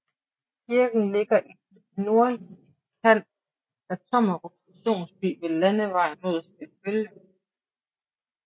Kirken ligger i den nordlige udkant af Tommerup Stationsby ved landevejen mod Skallebølle